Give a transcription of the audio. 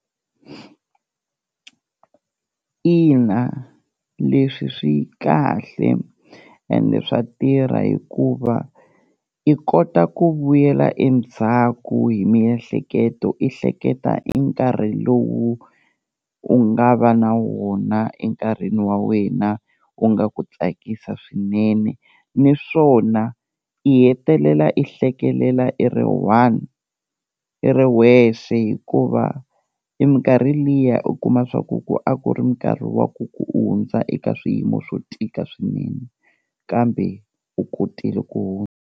Ina leswi swi kahle ende swa tirha hikuva i kota ku vuyela endzhaku hi miehleketo i hleketa i nkarhi lowu u nga va na wona enkarhini wa wena u nga ku tsakisa swinene, niswona i hetelela i hlekelela i ri one, i ri wexe hikuva i minkarhi liya u kuma swa ku ku a ku ri minkarhi wa ku ku u hundza eka swiyimo swo tika swinene, kambe u kotile ku hundza.